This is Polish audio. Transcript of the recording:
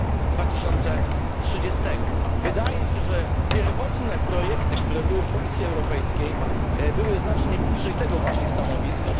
2030. Wydaje się, że pierwotne projekty Komisji Europejskiej były znacznie bliżej tego właśnie stanowiska.